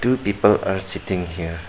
Two people are sitting here.